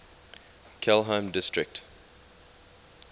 kelheim district